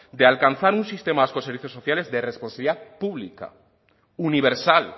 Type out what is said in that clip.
de alcanzar un sistema vasco de servicios sociales de responsabilidad pública universal